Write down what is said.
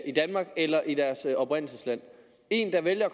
i danmark eller i deres oprindelsesland en der vælger